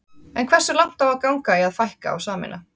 En hversu langt á að ganga í að fækka og sameina?